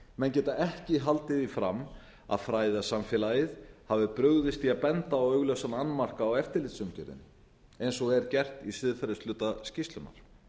menn geta ekki haldið því fram að fræðasamfélagið hafi brugðist því að benda á augljósan annmarka á eftirlitsumgjörðinni eins og er gert í siðferðishluta skýrslunnar